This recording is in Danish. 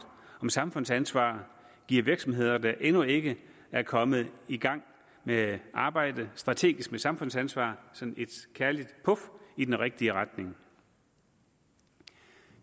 om samfundsansvar giver virksomheder der endnu ikke er kommet i gang med at arbejde strategisk med samfundsansvar sådan et kærligt puf i den rigtige retning